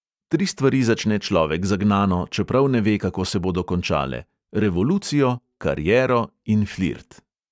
Tri stvari začne človek zagnano, čeprav ne ve, kako se bodo končale: revolucijo, kariero in flirt.